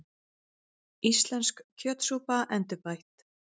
Íslensk kjötsúpa, endurbætt